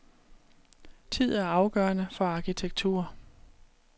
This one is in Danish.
Tid er afgørende for arkitektur.